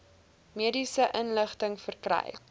mediese inligting verkry